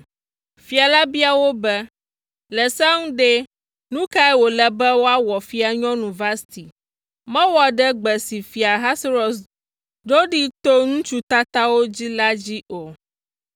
Fia la bia wo be, “Le sea nu ɖe, nu ka wòle be woawɔ Fianyɔnu Vasti? Mewɔ ɖe gbe si Fia Ahasuerus ɖo ɖee to ŋutsu tatawo dzi la dzi o.”